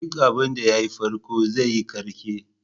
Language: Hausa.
Duk abinda ya yi farko zai yi ƙarke.